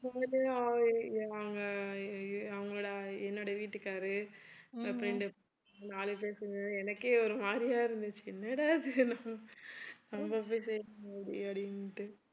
நாங்க அவங்களோட என்னுடைய வீட்டுக்காரு அப்புறம் நாலு பேர் சேர்ந்து எனக்கே ஒரு மாதிரியா இருந்துச்சு என்னடா இது நம்ப போய் அப்படின்னுட்டு